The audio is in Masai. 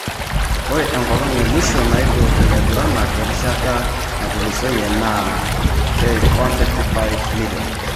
Ore enkolong emwisho naidur ilaiguranak erishata natulusoyie naa £155m.